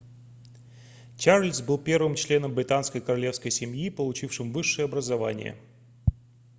чарльз был первым членом британской королевской семьи получившим высшее образование